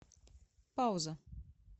пауза